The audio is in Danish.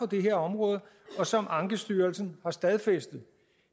det her område og som ankestyrelsen har stadfæstet